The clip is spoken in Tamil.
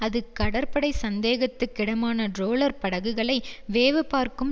அது கடற்படை சந்தேகத்துக்கிடமான ட்ரோலர் படகுகளை வேவுபார்க்கும்